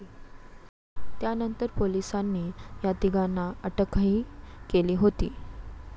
त्यानंतर पोलिसांनी या तिघांना अटकही केली होती.